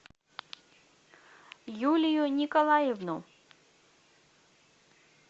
юлию николаевну